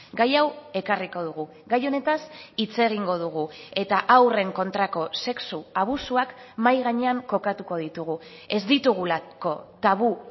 gai hau ekarriko dugu gai honetaz hitz egingo dugu eta haurren kontrako sexu abusuak mahai gainean kokatuko ditugu ez ditugulako tabu